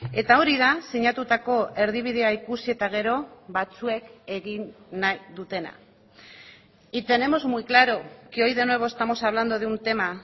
eta hori da sinatutako erdibidea ikusi eta gero batzuek egin nahi dutena y tenemos muy claro que hoy de nuevo estamos hablando de un tema